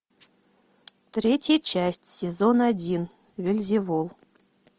третья часть сезон один вельзевул